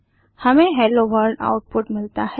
हमें hello world output मिलता है